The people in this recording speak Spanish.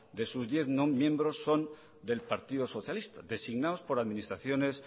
de sus diez miembros son del partido socialista designados por administraciones